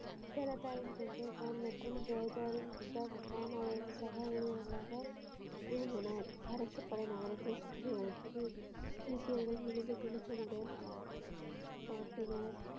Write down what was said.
உச்ச லதா வெந்தயக்கான் மற்றும் ஜார்ஜ் குதாப்கான் அவர்களின் சக ஊழியர்களான விரும்பினர் அரசு படை நகரத்தை சுற்றி வளைத்தது சீக்கியர்கள் மிகுந்த துணிச்சலுடன பார்த்தனர்.